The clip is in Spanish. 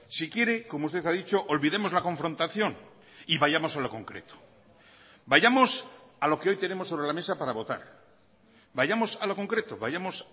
si quiere como usted ha dicho olvidemos la confrontación y vayamos a lo concreto vayamos a lo que hoy tenemos sobre la mesa para votar vayamos a lo concreto vayamos